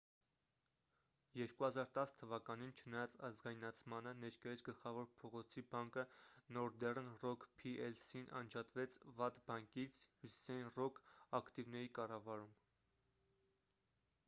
2010 թ.-ին չնայած ազգայնացմանը ներկայիս գլխավոր փողոցի բանկը նորդեռն ռոք փի-էլ-սին անջատվեց ’վատ բանկից’՝ հյուսիսային ռոք ակտիվների կառավարում: